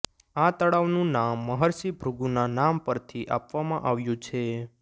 આ તળાવનું નામ મહર્ષિ ભૃગુના નામ પરથી આપવામાં આવ્યું છે